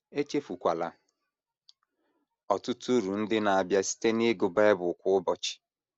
Echefukwala ọtụtụ uru ndị na - abịa site n’ịgụ Bible kwa ụbọchị.